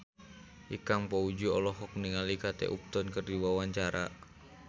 Ikang Fawzi olohok ningali Kate Upton keur diwawancara